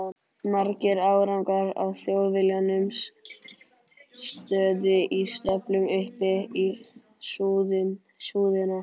Margir árgangar af Þjóðviljanum stóðu í stöflum upp í súðina.